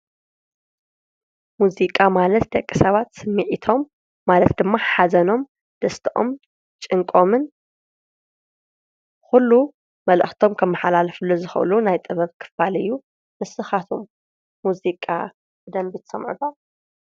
ሙዚቃ ማለት ደቂ ሰባት ስሚዒቶም ማለት ድማ ሓዘኖም ደስቶኦም ጭንቆምን ዂሉ መልእኽቶም ከመሓላልፍሉ ዝኸሉ ናይ ጥበብ ክፋል እዩ፡፡ ንስኻትኹም ሙዚቃ ብደመንቢ ትሰምዑ ዶ?